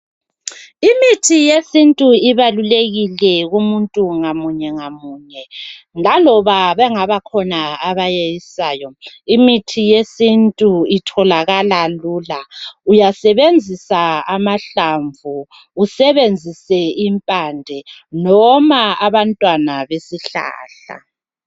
Imithi yesintu ibalulekile kumuntu ngamunye ngamunye. Laloba bekhona abayeyisayo imithi yesintu itholakala lula. Uyasebenzisa amahlamvu, usebenzise impande noma abantwana besihlahla.